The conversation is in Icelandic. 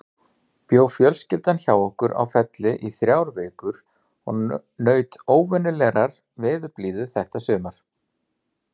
Bjó fjölskyldan hjá okkur á Felli í þrjár vikur og naut óvenjulegrar veðurblíðu þetta sumar.